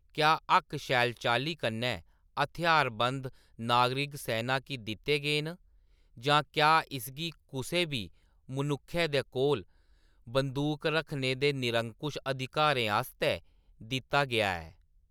क्या हक्क शैल चाल्ली कन्नै हथ्यारबंद नागरिक-सैना गी दित्ते गे न, जां क्या इसगी कुसै बी मनुक्खै दे कोल बंदूक रक्खने दे निरंकुश अधिकारें आस्तै दित्ता गेआ ऐ ?